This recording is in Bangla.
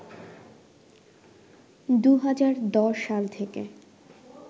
২০১০ সাল থেকে